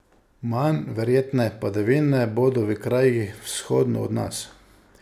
Manj verjetne padavine bodo v krajih vzhodno od nas.